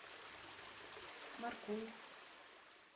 маркул